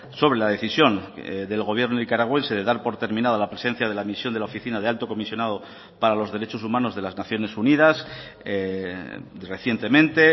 sobre la decisión del gobierno nicaragüense de dar por terminada la presencia de la misión de la oficina de alto comisionado para los derechos humanos de las naciones unidas recientemente